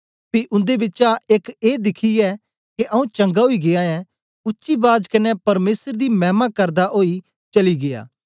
पी उन्दे बिचा एक ए दिखियै के आऊँ चंगा ओई गीया ऐं उच्ची बाज कन्ने परमेसर दी मैमा करदा ओई चली गीया